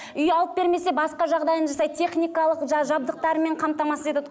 үй алып бермесе басқа жағдайын жасайды техникалық жабдықтарымен қамтамасыз етеді